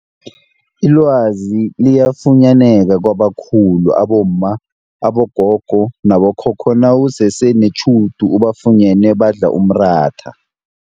Ilwazi liyafunyaneka kwabakhulu abomma, abogogo nabokhokho nawusese netjhudu ubafunyene badla umratha.